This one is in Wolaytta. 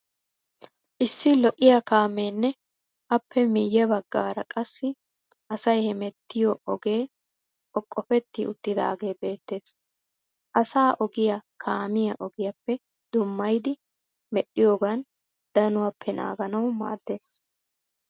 Issi lo'iyaa kaameenne appe miyye baggara qassi asay hemettiya ogee qoqofetti uttidaagee beettes. Asaa ogiya kaamiya ogiyaappe dummayidi medhdhiyogan danuwappe naaganawu maaddes.